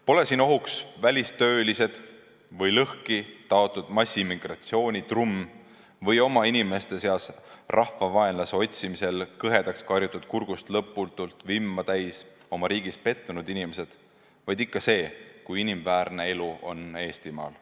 Pole siin ohuks välistöölised või lõhkitaotud massimmigratsioonitrumm või omainimeste seast rahvavaenlase otsimisel kähedaks karjutud kurguga, lõputut vimma täis, oma riigis pettunud inimesed, vaid ikka see, kui inimväärne elu on Eestimaal.